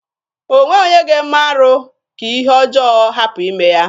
O nweghị onye ga-eme arụ ka ihe ọjọọ hapụ ime ya.